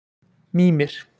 Mímir